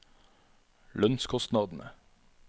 lønnskostnadene